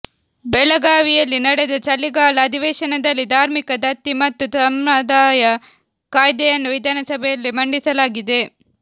ಬೆಳಗಾವಿಯಲ್ಲಿ ನಡೆದ ಚಳಿಗಾಲ ಅಧಿವೇಶನದಲ್ಲಿ ಧಾರ್ಮಿಕ ದತ್ತಿ ಮತ್ತು ಧರ್ಮಾದಾಯ ಕಾಯ್ದೆಯನ್ನು ವಿಧಾನಸಭೆಯಲ್ಲಿ ಮಂಡಿಸಲಾಗಿದೆ